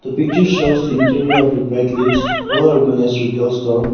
The picture shows interior of the bright cliche well-organized with a store.